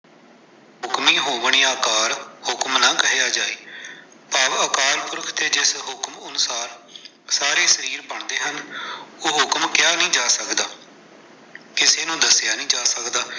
ਹੁਕਮ ਹੋਵਨ ਅਕਾਰ ਹੁਕਮ ਨ ਕਹਿਆ ਜਾਇ, ਭਾਵ ਅਕਾਲ ਪੁਰਖ ਤੇ ਜਿਸ ਹੁਕਮ ਅਨੁਸਾਰ, ਸਾਰੇ ਸਰੀਰ ਬਣਦੇ ਹਨ, ਉਹ ਹੁਕਮ ਕਹਿਆ ਨੀ ਜਾ ਸਕਦਾ, ਕਿਸੇ ਨੂੰ ਦੱਸਿਆ ਨਹੀਂ ਜਾ ਸਕਦਾ।